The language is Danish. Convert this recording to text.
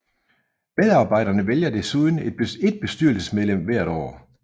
Medarbejderne vælger desuden et bestyrelsesmedlem hvert år